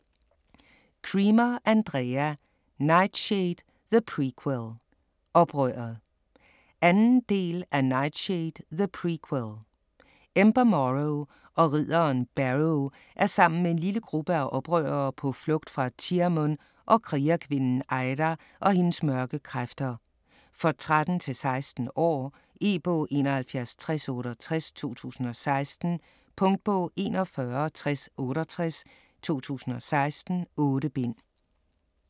Cremer, Andrea: Nightshade, the prequel - oprøret 2. del af Nightshade, the prequel. Ember Morrow og ridderen Barrow er sammen med en lille gruppe af oprørere på flugt fra Tearmunn og krigerkvinden Eira og hendes mørke kræfter. For 13-16 år. E-bog 716068 2016. Punktbog 416068 2016. 8 bind.